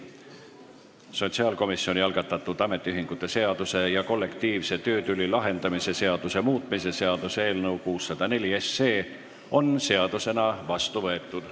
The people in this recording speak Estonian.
Sotsiaalkomisjoni algatatud ametiühingute seaduse ja kollektiivse töötüli lahendamise seaduse muutmise seaduse eelnõu 604 on seadusena vastu võetud.